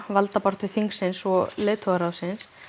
valdabaráttu þingsins og leiðtogaráðsins